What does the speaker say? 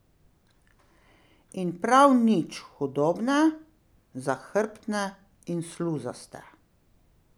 In prav nič hudobne, zahrbtne in sluzaste.